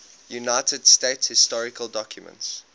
united states historical documents